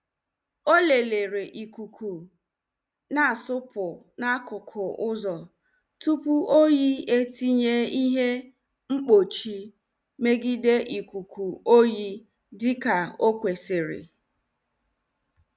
O lelere ikuku na asupu n'akụkụ uzo tupu oyi etinye ihe mkpuchi megide ikuku oyi dika o kwesiri.